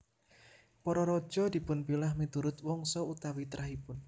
Para raja dipunpilah miturut wangsa utawi trahipun